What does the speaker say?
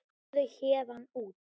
Farðu héðan út.